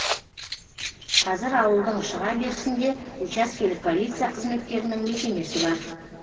қазір ауылдың шыға берісінде учаскелік полиция қызметкерінің мекемесі бар